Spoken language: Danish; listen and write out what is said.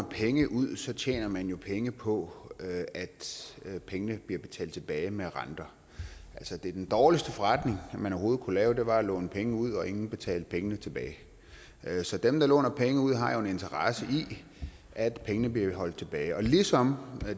penge ud tjener man jo penge på at at pengene bliver betalt tilbage med renter altså den dårligste forretning man overhovedet kunne lave var at låne penge ud og ingen betalte pengene tilbage så dem der låner penge ud har jo en interesse i at pengene bliver holdt tilbage ligesom